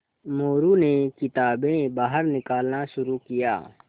मोरू ने किताबें बाहर निकालना शुरू किया